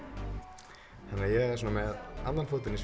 þannig að ég er svona með annan fótinn í